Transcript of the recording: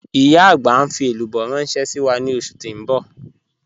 Ìyá agbà n fi èlúbọ̀ ránṣẹ̀ sí wa ni ọṣù tí n bọ̀.